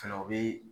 Fɛnɛ o bi